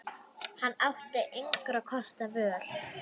Hann átti engra kosta völ.